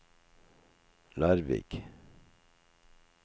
Larvik